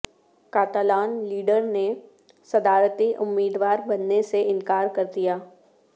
Catalan leader نے صدارتی امیدوار بننے سے انکار کر دیا